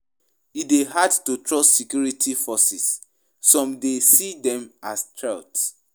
E dey hard to trust security forces; some dey see dem as threat.